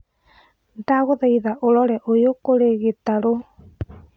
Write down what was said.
ndagũthaĩtha ũrore ũyũ kũri gĩtarũ